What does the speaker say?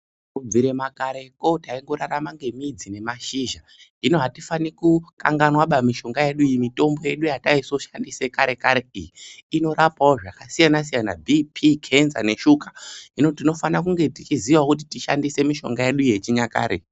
Kubva kareko taingorarama nemidzi nemashizha zvino atifani kukanganwaba mishonga yedu iyi mitombo yataisoshandisa kare inorapawo zvakasiyana siyana bhipi, kenza neshuga. Hino tinofanawo tichiziyawo tishandise mutombo yedu yechinyakare.